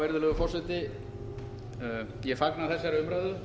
virðulegur forseti ég fagna þessari umræðu